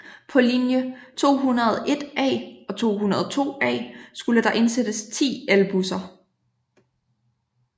På linje 201A og 202A skulle der indsættes 10 elbusser